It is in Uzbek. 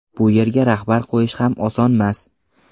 Bu yerga rahbar qo‘yish ham osonmas.